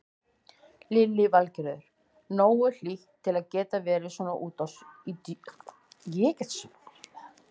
Lillý Valgerður: Nógu hlýtt til að geta verið svona úti í sjónum?